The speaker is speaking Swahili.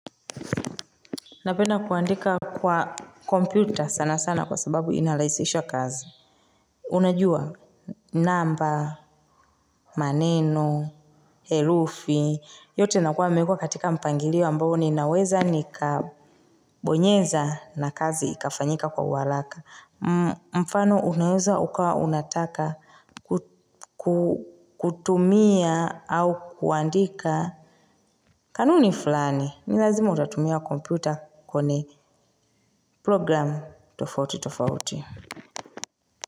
Napenda kuandika kwa computer sana sana kwa sababu inalaisisha kazi. Unajua? Namba, maneno, herufi, yote nakuwa mewekwa katika mpangilio ambao ninaweza nikabonyeza na kazi ikafanyika kwa uharaka. Mfano unaweza ukawa unataka kutumia au kuandika. Kanuni fulani, ni lazima utatumia computer kone program tofauti tofauti.